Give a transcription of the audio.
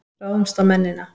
Ráðumst á mennina!